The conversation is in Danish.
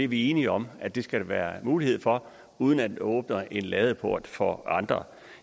vi er enige om at det skal der være mulighed for uden at vi åbner en ladeport for andre